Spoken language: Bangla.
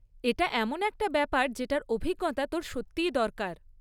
এটা এমন একটা ব্যাপার যেটার অভিজ্ঞতা তোর সত্যিই দরকার।